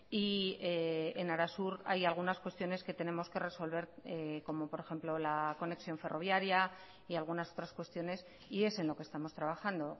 y en arasur hay algunas cuestiones que tenemos que resolver como por ejemplo la conexión ferroviaria y algunas otras cuestiones y es en lo que estamos trabajando